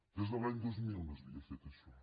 des de l’any dos mil no s’havia fet això